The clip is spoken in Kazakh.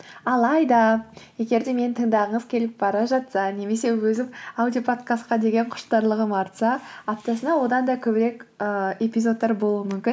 алайда егер де мені тыңдағыңыз келіп бара жатса немесе өзім аудиоподкастқа деген құштарлығым артса аптасына одан да көбірек ы эпизодтар болуы мүмкін